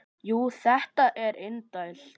Jú, þetta er indælt